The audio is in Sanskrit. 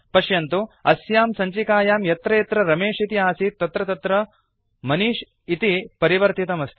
पश्यन्तु अस्यां सञ्चिकायां यत्र यत्र रमेश इति आसीत् तत्र तत्र मनिष् इति परिवर्तितमस्ति